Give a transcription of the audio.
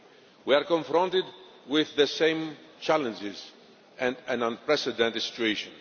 We are confronted with the same challenges and an unprecedented situation.